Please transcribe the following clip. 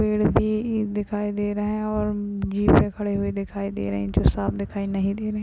पेड़ भी दिखाई दे रहे है और जीप भी खड़ी हुई दिखाई दे रहीं जो साफ़ दिखाई नहीं दे रही --